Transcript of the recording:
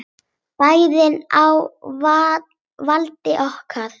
Bærinn á valdi okkar!